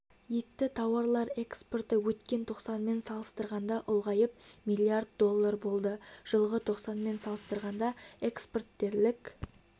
етті тауарлар экспорты өткен тоқсанмен салыстырғанда ұлғайып млрд долл болды жылғы тоқсанмен салыстырғанда экспорт дерлік